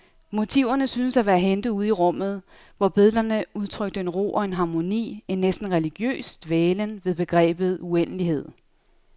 Motiverne syntes at være hentet ude i rummet, hvor billederne udtrykte en ro og en harmoni, en næsten religiøs dvælen ved begrebet uendelighed.